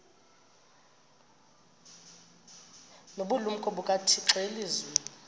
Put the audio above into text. nobulumko bukathixo elizwini